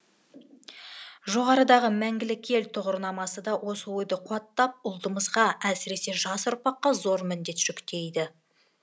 жоғарыдағы мәңгілік ел тұғырнамасы да осы ойды қуаттап ұлтымызға әсіресе жас ұрпаққа зор міндет жүктейді